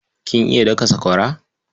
Kin iya daka sakwara?